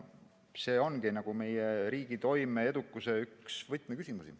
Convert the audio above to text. See ongi meie riigi toime ja edukuse üks võtmeküsimusi.